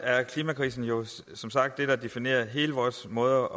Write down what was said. er klimakrisen jo som sagt det der definerer hele vores måde